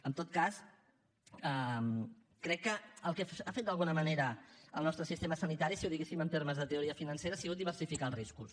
en tot cas crec que el que ha fet d’alguna manera el nostre sistema sanitari si ho diguéssim en termes de teoria financera ha sigut diversificar els riscos